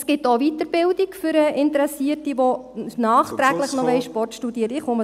Es gibt auch eine Weiterbildung für Interessierte, die nachträglich … noch Sport studieren wollen.